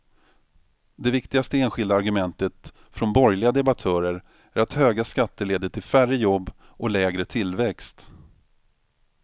Det viktigaste enskilda argumentet från borgerliga debattörer är att höga skatter leder till färre jobb och lägre tillväxt.